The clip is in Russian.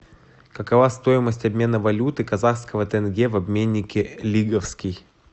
какова стоимость обмена валюты казахского тенге в обменнике лиговский